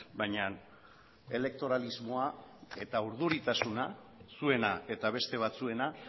baina elektoralismoa eta urduritasuna zuena eta beste batzuena